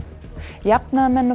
jafnaðarmenn og